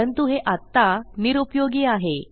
परंतु हे आत्ता निरूपयोगी आहे